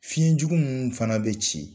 Fiɲɛ jugu munnu fana bɛ ci